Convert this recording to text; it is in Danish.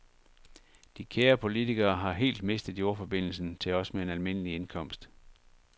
De kære politikere har helt mistet jordforbindelsen til os med en almindelig indkomst.